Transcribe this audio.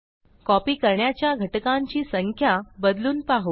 copy करण्याच्या घटकांची संख्या बदलून पाहू